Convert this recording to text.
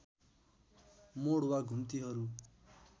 मोड वा घुम्तीहरू